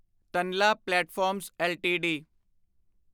Tanla platforms LTD